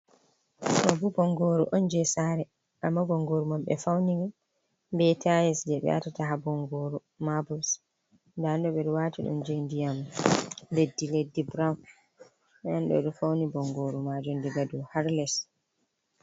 Do bo bongoru on je sare amma bongoru mam be fauni be tayis je be watata ha bongoru mabuls, dendo bedowati dum je ndiyam leddi leddi brown fauni bongoru majum daga do harles.